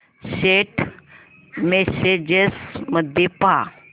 Saint messages मध्ये पहा